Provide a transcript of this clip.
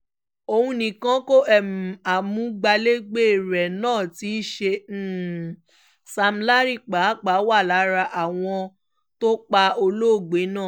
òun nìkan kó o amúgbálẹ́gbẹ̀ẹ́ rẹ náà tí í ṣe sam larry pàápàá wà lára àwọn tó pa olóògbé náà